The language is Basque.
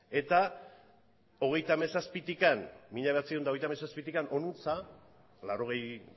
eta hogeita hamazazpitik mila bederatziehun eta hogeita hamazazpitik honantz laurogei